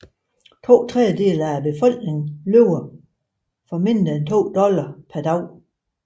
To tredjedele af befolkningen lever for mindre end to dollars per dag